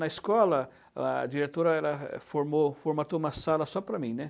Na escola, a diretora ela formou, formatou uma sala só para mim, né?